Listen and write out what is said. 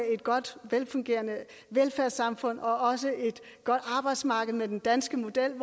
et godt og velfungerende velfærdssamfund og også et godt arbejdsmarked med den danske model